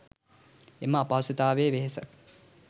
එම අපහසුතාවයේ වෙහෙස